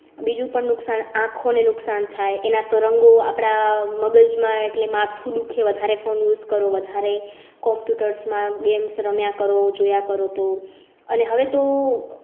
બીજું પણ નુકસાન આંખો ને નુકસાન થાય એના તરંગો આપણા મગજમાં એટલે માથું દુખે વધારે phone use કરો. વધારે computers માં games રમ્યા કરો, જોયા કરો તો અને હવે તો